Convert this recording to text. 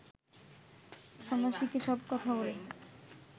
সন্ন্যাসীকে সব কথা বলে